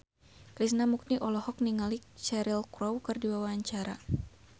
Krishna Mukti olohok ningali Cheryl Crow keur diwawancara